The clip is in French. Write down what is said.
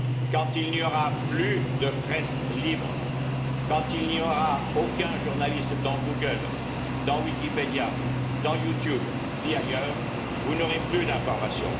Quand il n'y aura plus de presse libre, quand il n'y aura aucun journaliste dans Google, dans Wikipédia, dans YouTube, ni ailleurs, vous n'aurez plus d'information.